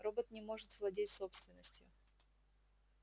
робот не может владеть собственностью